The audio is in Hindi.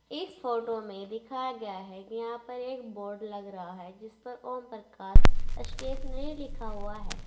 इस फोटो में दिखाया गया है कि यहां पर एक बोर्ड लग रहा है जिस पर ओमप्रकाश स्टेशनरी लिखा हुआ है।